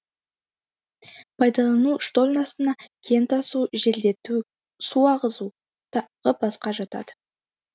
пайдалану штольнасына кен тасу желдету су ағызу тағы басқа жатады